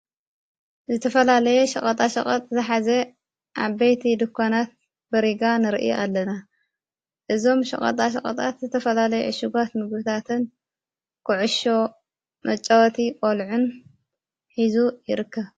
ዘተፈላለየ ሸቐጣ ሸቐጥ ዝኃዘ ዓበይቲ ድኳናት በሪጋ ንርኢ ኣለና እዞም ሸቐጣ ሸቐጣት ዝተፈላለይ ዕሽጓት ምግብታትን ኩዕሾ መጨወቲ ቖልዑ ን ኂዙይርከ።